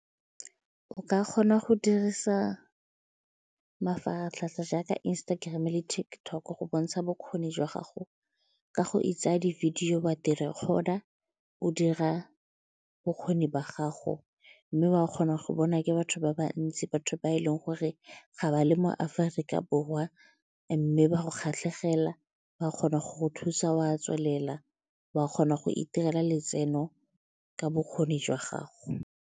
O ka kgona go dirisa mafaratlhatlha jaaka Instagram-e le TikTok go bontsha bokgoni jwa gago ka go itsaya di-video, wa recorde-a o dira bokgoni ba gago mme wa kgona go bona ke batho ba bantsi batho ba e leng gore ga ba le mo Aforika Borwa mme ba go kgatlhegela ba kgona go thusa wa tswelela wa kgona go itirela letseno ka bokgoni jwa gago.